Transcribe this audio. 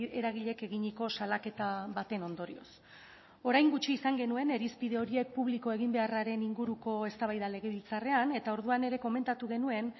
eragileek eginiko salaketa baten ondorioz orain gutxi izan genuen irizpide horiek publiko egin beharraren inguruko eztabaida legebiltzarrean eta orduan ere komentatu genuen